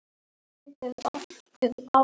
Þar stendur einnig